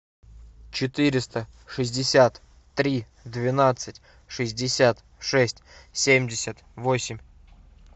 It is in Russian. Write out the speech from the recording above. четыреста шестьдесят три двенадцать шестьдесят шесть семьдесят восемь